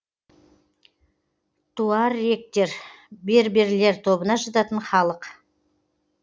туарегтер берберлер тобына жататын халық